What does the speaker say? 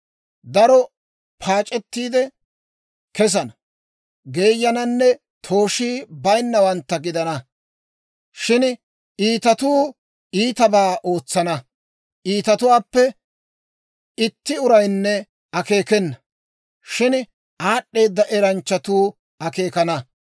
Darotuu paac'ettiide kesana, geeyananne tooshii bayinnawantta gidana; shin iitatuu iitabaa ootsana. Iitatuwaappe itti uraynne akeekena; shin aad'd'eeda eranchchatuu akeekana.